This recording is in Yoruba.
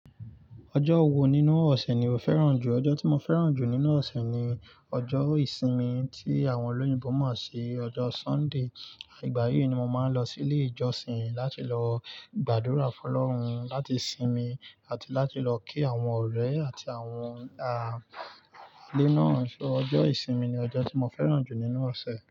Ọjọ́ wo nínú ọ̀sẹ̀ ni o fẹ́ràn jù? Ọjọ́ tí mo fẹ́ràn jù nínú ọ̀sẹ̀ ni ọjọ́ ìsinmi tí àwọn olóyìnbo mọ̀ sí ọjọ́ Sunday. Àgbáyé ni mo máa ń lọ sí ilé ìjọsìn láti lọ gbàdúrà fún ọlọ́run run, láti sinmi àti láti lọ kí àwọn ọ̀rẹ́ àti àwọn ah alẹ́ náà. So ọjọ́ ìsinmi ni ọjọ́ tí mo fẹ́ràn jù nínú ọ̀sẹ̀.